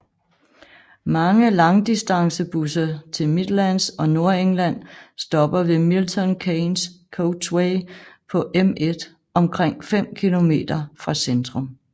Mange langdistancebusser til Midlands og Nordengland stopper ved Milton Keynes Coachway på M1 omkring 5 km fra centrum